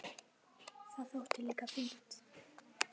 Það þótti líka fínt.